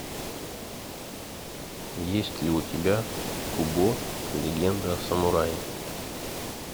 есть ли у тебя кубо легенда о самурае